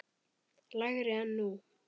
lægri en nú.